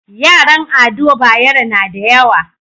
Yaran ado bayero nada yawa